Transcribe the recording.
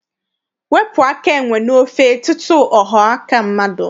Wepụ aka enwe n'ofe tutu ọ ghọọ aka mmadụ!